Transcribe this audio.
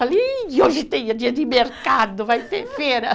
hoje tem é dia de mercado, vai ter feira.